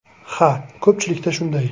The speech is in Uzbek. Ha, ko‘pchilikda shunday.